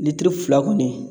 Litiri fila kɔni